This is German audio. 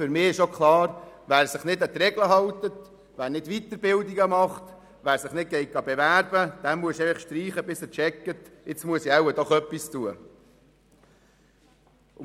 Für mich ist auch klar, dass demjenigen, der sich nicht an die Regeln hält, der keine Weiterbildungen besucht und sich nicht bewirbt, die Sozialhilfe gestrichen werden muss, bis er begreift, dass er doch etwas tun muss.